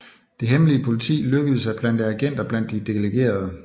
Det hemmelige politi lykkedes at plante agenter blandt de delegerede